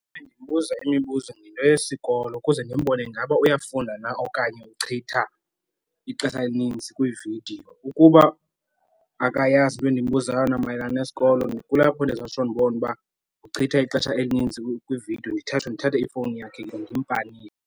Ndimbuza imibuzo ngento yesikolo ukuze ndimbone ingaba uyafunda na okanye uchitha ixesha elininzi kwiividiyo. Ukuba akayazi into endinombuza yona mayelana nesikolo kulapho ndizotsho ndibone uba uchitha ixesha elininzi kwiividiyo ndithathe, ndithathe ifowuni yakhe ndimpanishe.